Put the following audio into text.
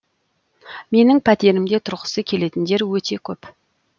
менің пәтерімде тұрғысы келетіндер өте көп